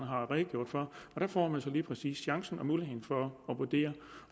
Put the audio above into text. har redegjort for der får man så lige præcis chancen og muligheden for at vurdere